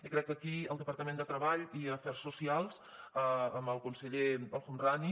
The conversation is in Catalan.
i crec que aquí el departament de treball i afers socials amb el conseller el homrani